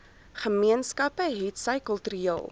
gemeenskappe hetsy kultureel